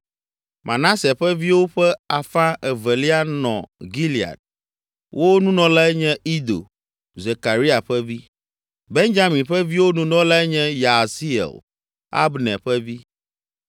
Manase ƒe viwo ƒe afã evelia nɔ Gilead, wo Nunɔlae nye Ido, Zekaria ƒe vi. Benyamin ƒe viwo Nunɔlae nye Yaasiel, Abner ƒe vi;